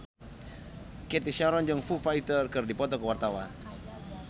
Cathy Sharon jeung Foo Fighter keur dipoto ku wartawan